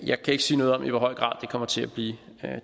jeg kan ikke sige noget om i hvor høj grad det kommer til at blive